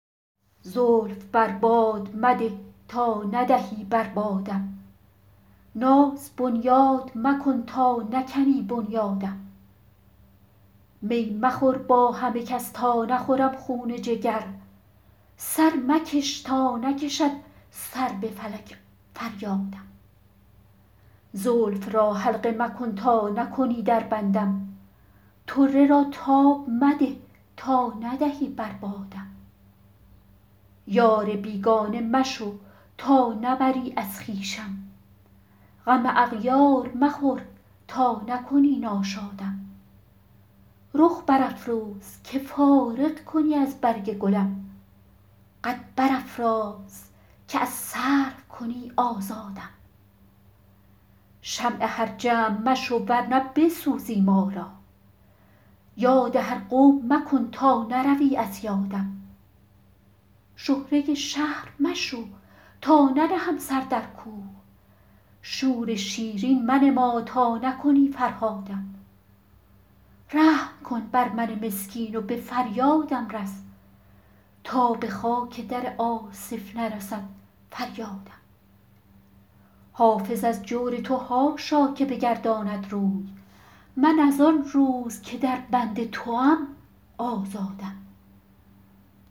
زلف بر باد مده تا ندهی بر بادم ناز بنیاد مکن تا نکنی بنیادم می مخور با همه کس تا نخورم خون جگر سر مکش تا نکشد سر به فلک فریادم زلف را حلقه مکن تا نکنی در بندم طره را تاب مده تا ندهی بر بادم یار بیگانه مشو تا نبری از خویشم غم اغیار مخور تا نکنی ناشادم رخ برافروز که فارغ کنی از برگ گلم قد برافراز که از سرو کنی آزادم شمع هر جمع مشو ور نه بسوزی ما را یاد هر قوم مکن تا نروی از یادم شهره شهر مشو تا ننهم سر در کوه شور شیرین منما تا نکنی فرهادم رحم کن بر من مسکین و به فریادم رس تا به خاک در آصف نرسد فریادم حافظ از جور تو حاشا که بگرداند روی من از آن روز که در بند توام آزادم